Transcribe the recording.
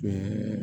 Ɛɛ